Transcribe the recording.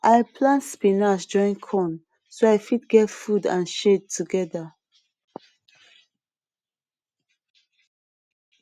i plant spinach join corn so i fit get food and shade together